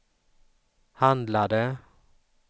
handlade